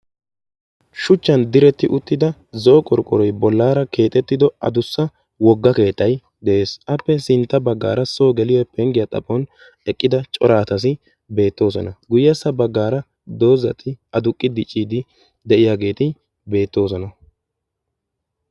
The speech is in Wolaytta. shuchchan diretti uttida zo7o qorqqoroy bollaara keexettido adussa wogga keettay de7ees. appe sintta baggaara soo geliyo penggiyaa xaphon eqqida cora asati beettoosona. guyyessa baggaara doozati aduqqi dicciidi de7iyaageeti beettoosona.